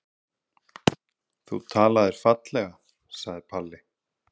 Þú talaðir fallega, sagði Palli.